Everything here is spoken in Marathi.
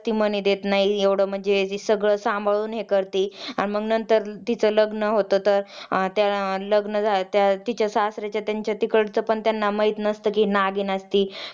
कुस्ती सारखा व्यायाम करावा तसेच व्यायाम आपल्या अर्धशक्ती एवढाच करावा.